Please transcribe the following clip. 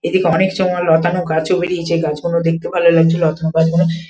এদিকে অনেক সময় লতানো গাছে বেরিয়েছে গাছগুলো দেখতে ভালো লাগছে লতানো গাছগুলো ।